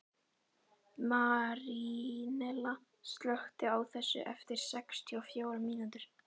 Marínella, slökktu á þessu eftir sextíu og fjórar mínútur.